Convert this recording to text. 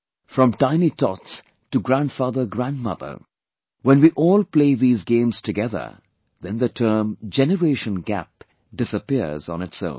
From tiny tots to GrandfatherGrandmother, when we all play these games together then the term 'Generation Gap' disappears on its own